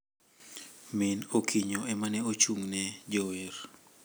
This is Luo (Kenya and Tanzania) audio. Min Okinyo ema ne ochung` ne jower